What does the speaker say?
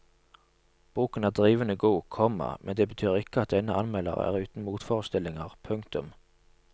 Boken er drivende god, komma men det betyr ikke at denne anmelder er uten motforestillinger. punktum